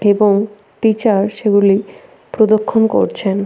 এবং টিচার সেগুলি প্রদক্ষন করছেন।